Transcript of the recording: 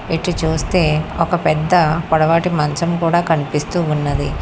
ఇటు చూస్తే ఒక పెద్ద పొడవాటి మంచం కూడా కనిపిస్తూ ఉన్నది.